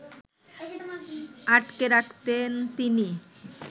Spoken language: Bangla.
আটকে রাখতেন তিনি